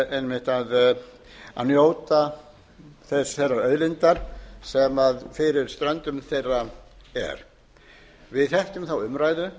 einmitt að njóta þeirrar auðlindar sem fyrir stöndum þeirra er við þekkjum þá umræðu